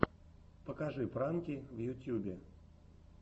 покажи пранки в ютьюбе